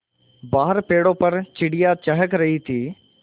बाहर पेड़ों पर चिड़ियाँ चहक रही थीं